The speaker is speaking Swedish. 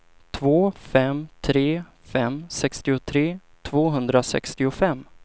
två fem tre fem sextiotre tvåhundrasextiofem